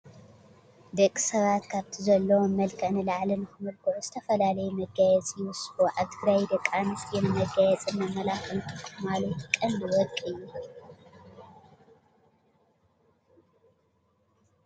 ደቂ ሰባት ካብቲ ዘለዎም መልክዕ ንላዕሊ ንኽምልክዑ ዝተፈላለዩ መጋየፂ ይውስኹ፡፡ ኣብ ትግራይ ደቂ ኣነስትዮ ንመጋየፅን መመላኽዕን ዝጥቀማሉ እቲ ቀንዲ ወርቂ እዩ፡፡